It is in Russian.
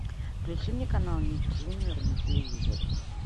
включи мне канал ник джуниор на телевизоре